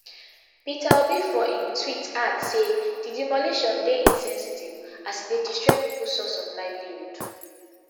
peter obi for im tweet add say di demolition dey insensitive as e dey destroy pipo source of livelihood